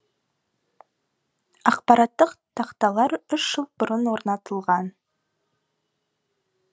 ақпараттық тақталар үш жыл бұрын орнатылған